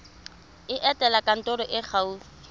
etela kantoro e e gaufi